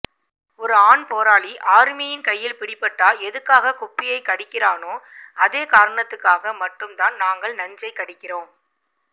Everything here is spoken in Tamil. ஒரு ஆண்போராளி ஆமியின்ர கையில பிடிபட்டா எதுக்காக குப்பியை கடிக்கிறானோ அதேகாரணத்துக்காக மட்டும் தான் நாங்கள் நஞ்சை கடிக்கிறம்